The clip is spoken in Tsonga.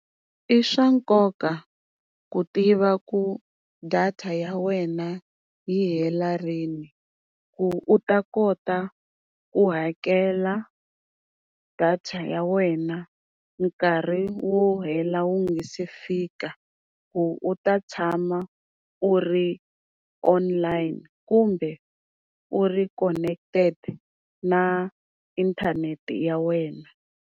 I swa nkoka ku tiva ku data ya wena yi hela rini, ku u ta kota ku hakela data ya wena nkarhi wu hela wu nga se fika ku u ta tshama u ri online kumbe u ri connected na inthanete ya wena.